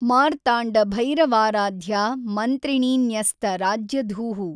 ಮಾರ್ತಾಂಡ ಭೈರವಾರಾಧ್ಯಾ ಮಂತ್ರಿಣೀನ್ಯಸ್ತ ರಾಜ್ಯಧೂಃ।